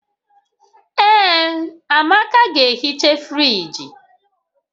Ee, Amaka ga-ehicha friji